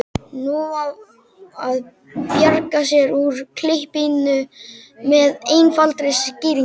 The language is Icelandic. Nú á að bjarga sér úr klípunni með einfaldri skýringu.